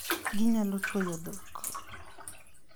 Ginyalo tuoyo dhok.